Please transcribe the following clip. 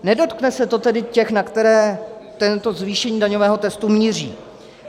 Nedotkne se to tedy těch, na které to zvýšení daňového testu míří.